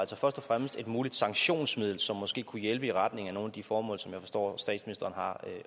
altså først og fremmest et muligt sanktionsmiddel som måske kunne hjælpe i retning af nogle af de formål som jeg forstår statsministeren